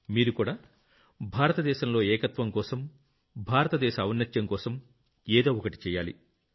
మీరుకూడా భారతదేశంలో ఏకత్వం కోసం భారత దేశ ఔన్నత్యం కోసం ఏదో ఒకటి చెయ్యాలి